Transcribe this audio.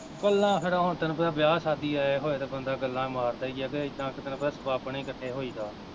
ਗੱਲਾਂ ਫਿਰ ਹੁਣ ਤੇਨੂੰ ਪਤਾ ਵਿਆਹ ਸ਼ਾਦੀ ਆਏ ਹੋਏ ਤੇ ਬੰਦਾ ਗੱਲਾਂ ਮਾਰਦਾ ਈ ਐ, ਤੇ ਏਦਾਂ ਤੇਨੂੰ ਪਤਾ ਸਬੱਬ ਨਾਲ਼ ਈ ਕੱਠੇ ਹੋਈ ਦਾ